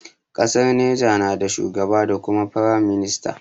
Ƙasar Niger na da shugaba da kuma firam minista.